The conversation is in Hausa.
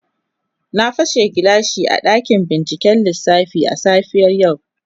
Na pashe gilashi a dakin binciken lissafi a safiyar yau.